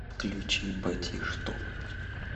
включи батишту